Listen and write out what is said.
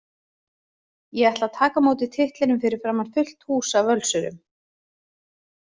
Ég ætla að taka á móti titlinum fyrir framan fullt hús af Völsurum.